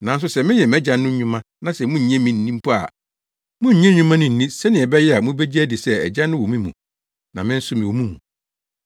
Nanso sɛ meyɛ mʼAgya no nnwuma na sɛ munnnye me nni mpo a munnye nnwuma no nni sɛnea ɛbɛyɛ a mubegye adi sɛ Agya no wɔ me mu na me nso mewɔ ne mu.”